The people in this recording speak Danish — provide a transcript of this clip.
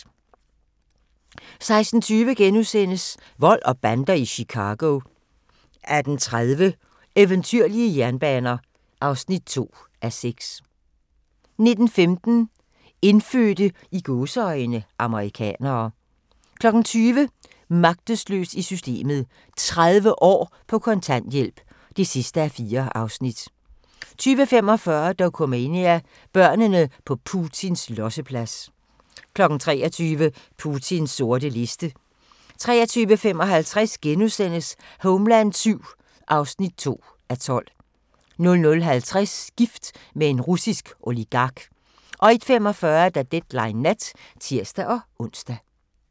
16:20: Vold og bander i Chicago * 18:30: Eventyrlige jernbaner (2:6) 19:15: Indfødte "amerikanere" 20:00: Magtesløs i systemet: 30 år på kontanthjælp (4:4) 20:45: Dokumania: Børnene på Putins losseplads 23:00: Putins sorte liste 23:55: Homeland VII (2:12)* 00:50: Gift med en russisk oligark 01:45: Deadline Nat (tir-ons)